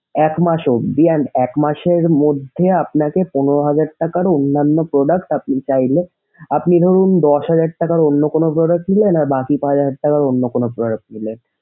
এক মাসের behind এক মাসের মধ্যে আপনাকে পনেরো হাজার টাকার অন্যান্য product আপনি চাইলে আপনি ধরুন দশ হাজার টাকার অন্য কোনো ধরেছিলেন আর বাকি পাঁচহাজার টাকার অন্য কোনো product নিলেন।